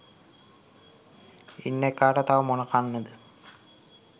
ඉන්න එකාට තව මොන කන්නද